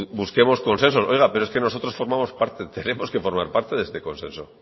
busquemos consenso oiga pero es que nosotros formamos parte tenemos que formar parte de este consenso